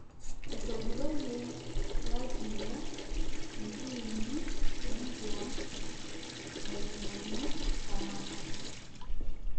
Etogiroyie Laziio intiimi e Englang ainyang'u samatta